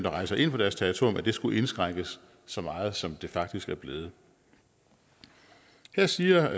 rejser ind på deres territorium skulle indskrænkes så meget som den faktisk er blevet her siger